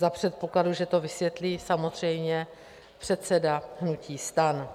Za předpokladu, že to vysvětlí samozřejmě předseda hnutí STAN.